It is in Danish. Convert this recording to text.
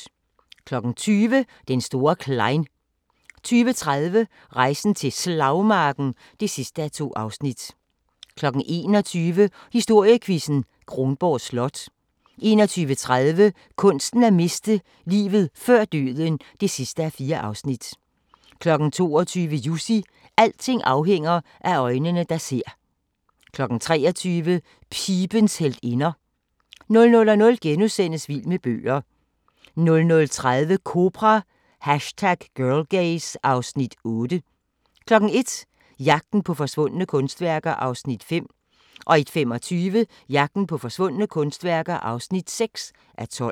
20:00: Den store Klein 20:30: Rejsen til Slagmarken (2:2) 21:00: Historiequizzen: Kronborg Slot 21:30: Kunsten at miste: Livet før døden (4:4) 22:00: Jussi – alting afhænger af øjnene, der ser 23:00: Pibens heltinder 00:00: Vild med bøger * 00:30: Kobra – #Girlgaze (Afs. 8) 01:00: Jagten på forsvundne kunstværker (5:12) 01:25: Jagten på forsvundne kunstværker (6:12)